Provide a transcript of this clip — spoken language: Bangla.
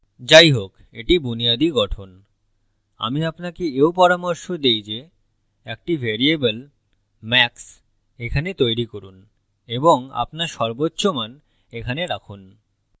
যাইহোক এটি বুনিয়াদি গঠন আমি আপনাকে এও পরামর্শ দেই যে একটি ভ্যারিয়েবল max এখানে তৈরী করুন এবং আপনার সর্বোচ্চ মান এখানে রাখুন